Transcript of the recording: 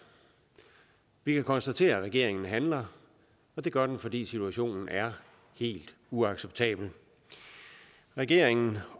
vi kan konstatere at regeringen handler det gør den fordi situationen er helt uacceptabel regeringen